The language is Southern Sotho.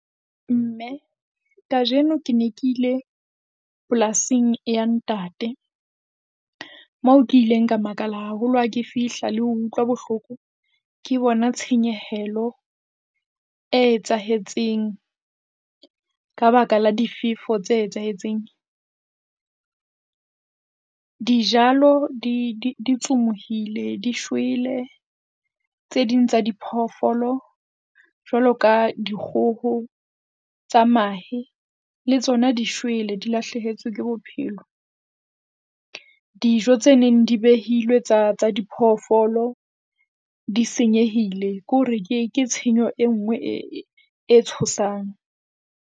Mme kajeno ke ne ke ile polasing ya ntate, mo ke ileng ka makala haholo ha ke fihla le ho utlwa bohloko. Ke bona tshenyehelo e etsahetseng, ka baka la difefo tse etsahetseng, dijalo di, di tsumohile di shwele. Tse ding tsa diphoofolo jwalo ka dikgoho tsa mahe le tsona di shwele di lahlehetswe ke bophelo. Dijo tse neng di behilwe tsa, tsa diphoofolo di senyehile. Ke hore ke tshenyo e nngwe e tshosang.